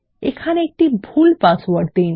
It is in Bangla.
এখানে একটি ভুল পাসওয়ার্ড দিন